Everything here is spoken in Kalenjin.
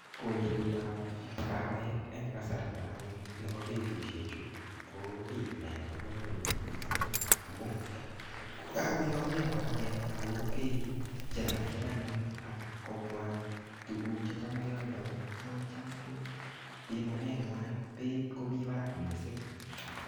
Kolsetab kawek eng kasarta anyun nebo betusiek chu, ko kiy nebo komonut missing amu ngokakoyamyo kawek ako kaichercher anyun, ak kobwaa tuguk checham kealdoi, kocham ko pimanet ng'wai beit komii barak missing.